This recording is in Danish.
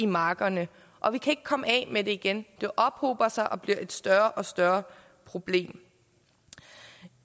markerne og vi kan ikke komme af med det igen det ophober sig og bliver et større og større problem